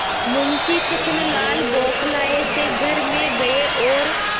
मुंशी छक्कनलाल बौखलाये से घर में गये और